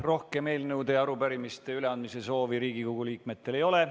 Rohkem eelnõude ja arupärimiste üleandmise soovi Riigikogu liikmetel ei ole.